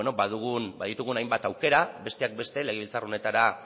baditugun hainbat aukera besteak beste legebiltzar honetara